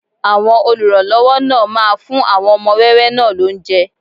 Àwọn olùrànlọ́wọ́ náà máa fún àwọn ọmọ wẹ́wẹ́ náà lóúnjẹ